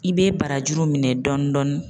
I bɛ barajuru minɛ dɔɔni dɔɔni.